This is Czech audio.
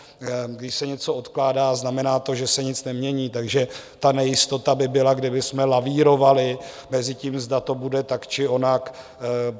Když se něco odkládá, znamená to, že se nic nemění, takže ta nejistota by byla, kdybychom lavírovali mezi tím, zda to bude tak, či onak.